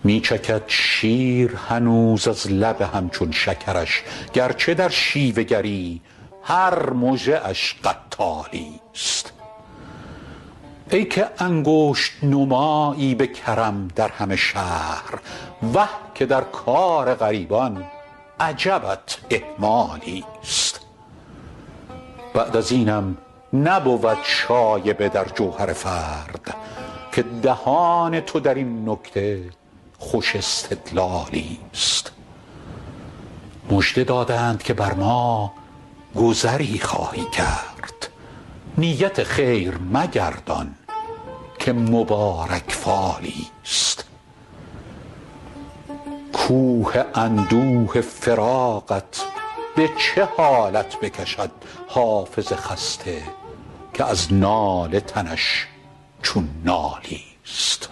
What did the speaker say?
ست می چکد شیر هنوز از لب هم چون شکرش گر چه در شیوه گری هر مژه اش قتالی ست ای که انگشت نمایی به کرم در همه شهر وه که در کار غریبان عجبت اهمالی ست بعد از اینم نبود شایبه در جوهر فرد که دهان تو در این نکته خوش استدلالی ست مژده دادند که بر ما گذری خواهی کرد نیت خیر مگردان که مبارک فالی ست کوه اندوه فراقت به چه حالت بکشد حافظ خسته که از ناله تنش چون نالی ست